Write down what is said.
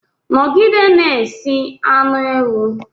Nọgide na-esi anu ewu!